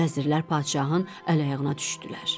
Vəzirlər padşahın əl-ayağına düşdülər.